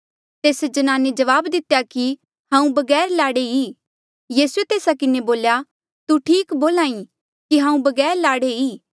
तेस्से ज्नाने जवाब दितेया कि हांऊँ बगैर लाड़े ई यीसूए तेस्सा किन्हें बोल्या तू ठीक बोल्हा ई कि हांऊँ बगैर लाड़े ई